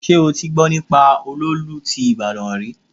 Ṣé o ti gbọ́ nípa olóòlù ti ìbàdàn rí?